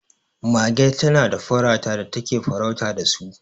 mage tana da farata da take farautar da su